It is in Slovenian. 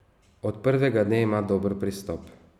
Od prvega dne ima dober pristop.